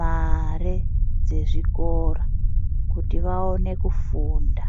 mare dzezvikora kuti vaone kufunda.